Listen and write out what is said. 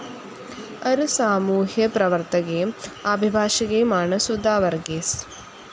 ഒരു സാമൂഹ്യപ്രവർത്തകയും അഭിഭാഷകയുമാണ് സുധാ വർഗീസ്.